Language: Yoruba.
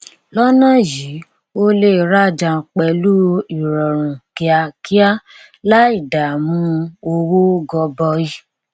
lọnà yìí o lè rajà pẹlú ìrọrùn kíákíá láì dàmú owó gọbọi